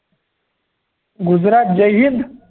गुजरात जय हिंद